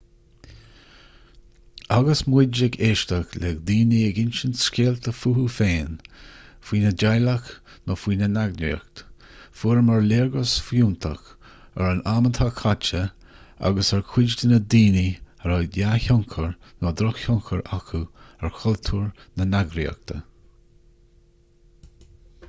agus muid ag éisteacht le daoine ag insint scéalta fúthu féin faoina dteaghlach nó faoina n-eagraíocht fuaireamar léargas fiúntach ar an am atá caite agus ar chuid de na daoine a raibh dea-thionchar nó droch-thionchar acu ar chultúr na heagraíochta